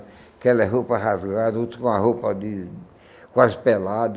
Aquelas roupas rasgadas, outros com a roupa de... quase pelado.